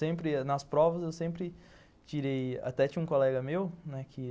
Sempre nas provas eu sempre tirei... Até tinha um colega meu né que